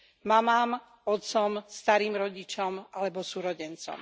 Mamám, otcom, starým rodičom alebo súrodencom.